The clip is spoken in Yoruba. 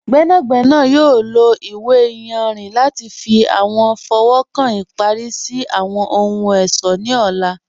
Gbẹnagbẹna yọ̀ lọ iwe ìyànrin lati fi awọn fọwọ́kan ipari si awọn ohun-ọṣọ ni ọ̀là.